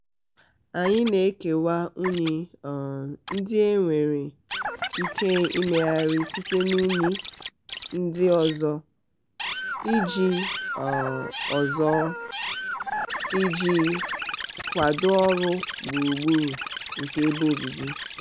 anyị na-ekewa unyi um ndị e nwere um ike imegharị site n'unyi ndị ọzọ iji um ọzọ iji um kwado ọrụ gburugburu nke ebe obibi.